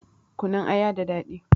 Kunun aya da daɗi